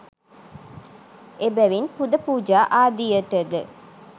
එබැවින් පුද පූජා ආදියට ද